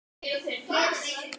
Já, það höfum við.